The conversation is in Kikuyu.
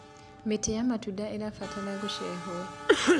mĩtĩ ya matunda irabatara guceherwo